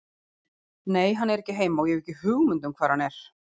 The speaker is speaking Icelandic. Nei, hann er ekki heima og ég hef ekki hugmynd um hvar hann er!